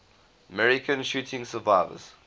american shooting survivors